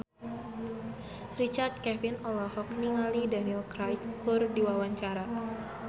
Richard Kevin olohok ningali Daniel Craig keur diwawancara